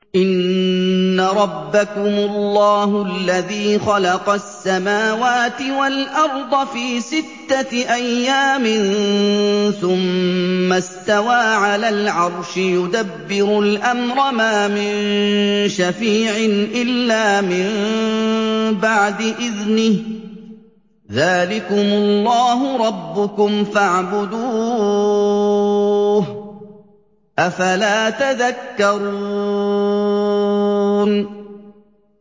إِنَّ رَبَّكُمُ اللَّهُ الَّذِي خَلَقَ السَّمَاوَاتِ وَالْأَرْضَ فِي سِتَّةِ أَيَّامٍ ثُمَّ اسْتَوَىٰ عَلَى الْعَرْشِ ۖ يُدَبِّرُ الْأَمْرَ ۖ مَا مِن شَفِيعٍ إِلَّا مِن بَعْدِ إِذْنِهِ ۚ ذَٰلِكُمُ اللَّهُ رَبُّكُمْ فَاعْبُدُوهُ ۚ أَفَلَا تَذَكَّرُونَ